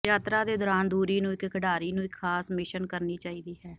ਯਾਤਰਾ ਦੇ ਦੌਰਾਨ ਦੂਰੀ ਨੂੰ ਇੱਕ ਖਿਡਾਰੀ ਨੂੰ ਇੱਕ ਖਾਸ ਮਿਸ਼ਨ ਕਰਨੀ ਚਾਹੀਦੀ ਹੈ